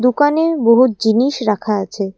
দোকানে বহুত জিনিস রাখা আছে।